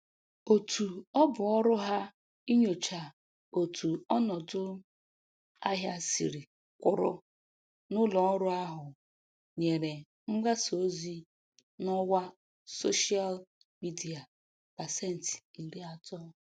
Otu ọbụ ọrụ ha inyocha otu ọnọdụ ahịa siri kwụrụ n'ụlọ ọrụ ahụ nyere mgbasa ozi n'ọwa soshịal midia pasentị iri atọ